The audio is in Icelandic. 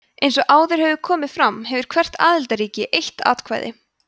eins og áður hefur komið fram hefur hvert aðildarríki eitt atkvæði